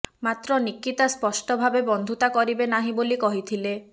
ମାତ୍ର ନୀକିତା ସ୍ପଷ୍ଟ ଭାବେ ବନ୍ଧୁତା କରିବେ ନାହିଁ ବୋଲି କହିଥିଲେ